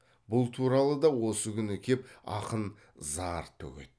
бұл туралы да осы күні кеп ақын зар төгеді